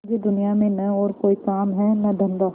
मुझे दुनिया में न और कोई काम है न धंधा